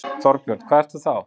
Þorbjörn: Hvað ertu þá?